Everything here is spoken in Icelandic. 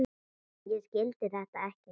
Ég skildi þetta ekki.